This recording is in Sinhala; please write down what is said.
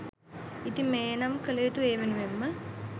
ඉතින් මෙය නම් කළයුතු ඒ වෙනුවෙන් ම